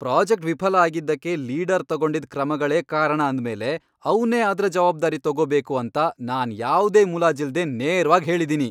Project ವಿಫಲ ಆಗಿದ್ದಕ್ಕೆ leader ತಗೊಂಡಿದ್ ಕ್ರಮಗಳೇ ಕಾರಣ ಅಂದ್ಮೇಲೆ ಅವ್ನೇ ಅದ್ರ ಜವಾಬ್ದಾರಿ ತಗೋಬೇಕು ಅಂತ ನಾನ್ ಯಾವ್ದೇ ಮುಲಾಜಿಲ್ದೇ ನೇರ್ವಾಗ್ ಹೇಳಿದೀನಿ.